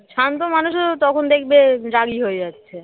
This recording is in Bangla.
শান্ত মানুষেরও তখন দেখবে রাগী হয়ে যাচ্ছে